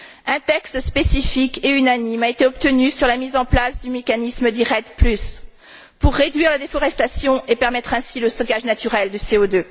Un texte spécifique et unanime a été obtenu sur la mise en place du mécanisme dit REDD pour réduire la déforestation et permettre ainsi le stockage naturel de CO